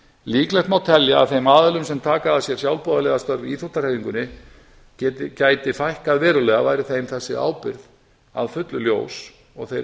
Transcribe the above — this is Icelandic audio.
líklegt má telja að þeim aðilum sem taka að sér sjálfboðaliða í íþróttahreyfingunni gæti fækkað verulega væri þeim þessi ábyrgð að fullu ljós og þeir